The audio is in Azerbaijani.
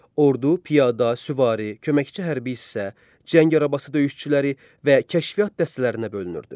Ordu piyada, süvari, köməkçi hərbi hissə, cəng arabası döyüşçüləri və kəşfiyyat dəstələrinə bölünürdü.